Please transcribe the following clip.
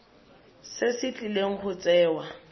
se se tlileng go tsewa